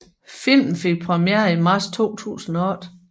Filmen fik premiere i marts 2008